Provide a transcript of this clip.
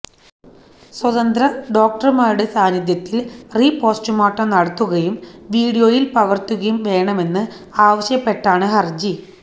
സ്വതന്ത്ര ഡോക്ടർമാരുടെ സാന്നിധ്യത്തിൽ റീപോസ്റ്റ്മോർട്ടം നടത്തുകയും വിഡിയോയിൽ പകർത്തുകയും വേണമെന്ന് ആവശ്യപ്പെട്ടാണ് ഹർജി